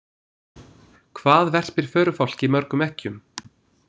Hvað verpir förufálki mörgum eggjum?